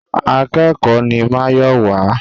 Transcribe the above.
Akẹ́kòó ni Máyọ̀wá.